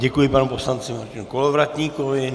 Děkuji panu poslanci Martinu Kolovratníkovi.